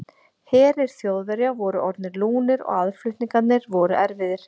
Herir Þjóðverja voru orðnir lúnir og aðflutningar voru erfiðir.